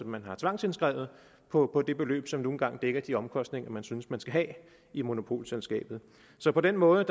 man har tvangsindskrevet på det beløb som nu engang dækker de omkostninger man synes man skal have i monopolselskabet så på den måde